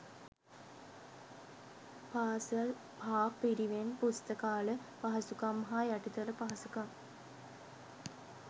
පාසල් හා පිරිවෙන් පුස්තකාල පහසුකම් හා යටිතල පහසුකම්